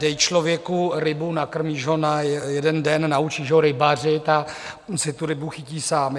Dej člověku rybu, nakrmíš ho na jeden den, nauč ho rybařit a on si tu rybu chytí sám.